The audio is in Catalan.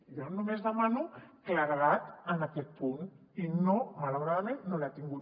jo només demano claredat en aquest punt i malauradament no l’he tingut